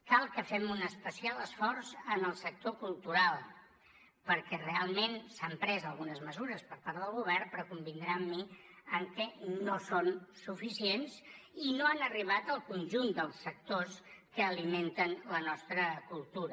cal que fem un especial esforç en el sector cultural perquè realment s’han pres algunes mesures per part del govern però convindrà amb mi que no són suficients i no han arribat al conjunt dels sectors que alimenten la nostra cultura